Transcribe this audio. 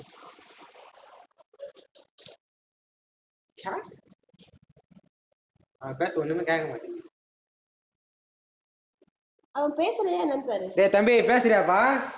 அவன் பேசுறது ஒண்ணுமே கேக்கமாட்டேங்குது டேய் தம்பி பேசுறியாப்பா